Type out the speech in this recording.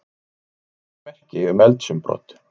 Engin ummerki um eldsumbrot